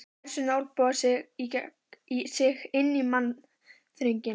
Lærisveinarnir olnboga sig inn í mannþröngina.